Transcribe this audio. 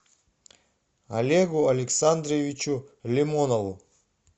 олегу александровичу лимонову